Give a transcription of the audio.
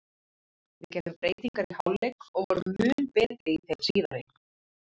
Við gerðum breytingar í hálfleik og vorum mun betri í þeim síðari.